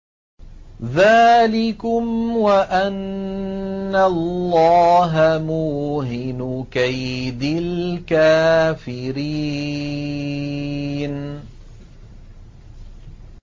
ذَٰلِكُمْ وَأَنَّ اللَّهَ مُوهِنُ كَيْدِ الْكَافِرِينَ